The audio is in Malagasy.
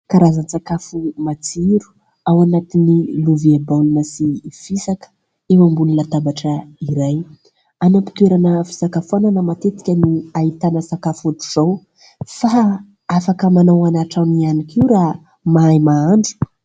Karazan-tsakafo matsiro ao anatin'ny lovia baolina sy fisaka eo ambony latabatra iray an'am-pitoerana fisakafoanana matetika no ahitana sakafo ohatra izao fa afaka manao any antranony ihany koa raha mahay mahandro.